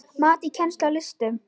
Mat á kennslu í listum